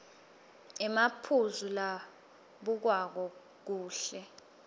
emaphuzu labukwako kuhle